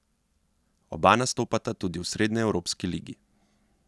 Oba nastopata tudi v srednjeevropski ligi.